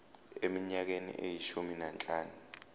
eminyakeni eyishumi nanhlanu